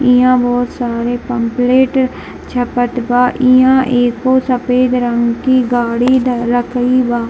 इहां बहुत सारे पम्पलेट छपत बा | इहां एगो सफ़ेद रंग की गाड़ी ध रखल बा।